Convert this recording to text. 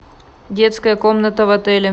детская комната в отеле